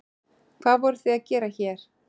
Hvað voruð þið að gera hér?